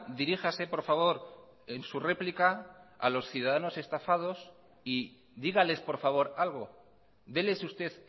diríjase por favor en su réplica a los ciudadanos estafados y dígales por favor algo deles usted